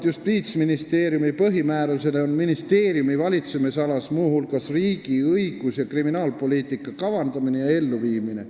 Justiitsministeeriumi põhimääruse kohaselt on ministeeriumi valitsemisalas muu hulgas riigi õigus- ja kriminaalpoliitika kavandamine ja elluviimine.